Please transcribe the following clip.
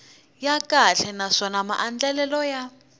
ya kahle naswona maandlalelo ya